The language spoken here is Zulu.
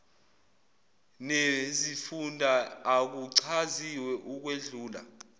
nezifunda akuchaziwe ukwedlula